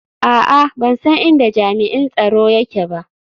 A'a, ban san inda jami'in tsaro yake ba